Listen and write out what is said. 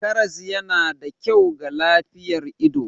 Karas yana da kyau ga lafiyar ido.